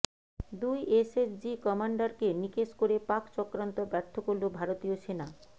দুই এসএসজি কমান্ডারকে নিকেশ করে পাক চক্রান্ত ব্যর্থ করল ভারতীয় সেনা